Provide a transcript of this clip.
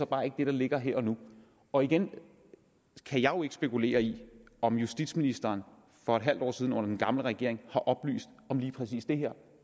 bare ikke det der ligger her og nu og igen kan jeg jo ikke spekulere i om justitsministeren for et halvt år siden under den gamle regering oplyste om lige præcis det her